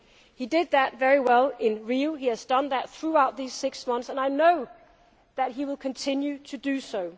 He did that very well in Rio, he has done that throughout these six months and I know that he will continue to do so.